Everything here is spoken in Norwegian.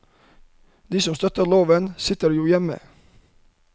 De som støtter loven, sitter jo hjemme.